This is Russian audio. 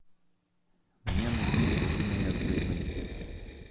мне нужны куриные отбивные